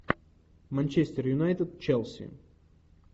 манчестер юнайтед челси